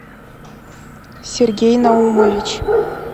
сергей наумович